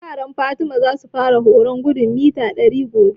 Yaran Fati za su fara horon gudun mita ɗari gobe